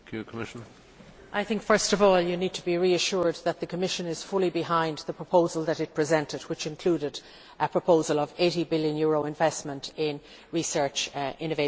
I think first of all you need to be reassured that the Commission is fully behind the proposal that it presented, which included a proposal of an EUR 80 billion investment in research, innovation and science.